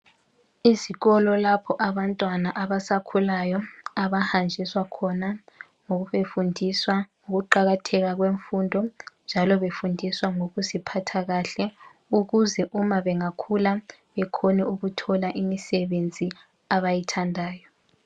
Ezikolo lapho abantwana abasakhulayo abahanjiswa khona ngoku befundiswa ukuqakatheka kwemfundo njalo befundiswa ngokuziphatha kahle ukuze uma bengakhula bekhone ukuthola imisebenzi abayithandayo.